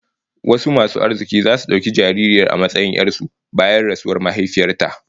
Wasu masu arziki zasu dauki jaririyar a matsayin 'yar su bayan rasuwar mahaifiyar ta